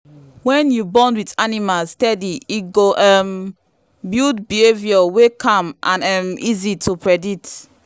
when you bond with animals steady e go um build behaviour wey calm and um easy to predict.